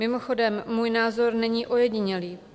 Mimochodem můj názor není ojedinělý.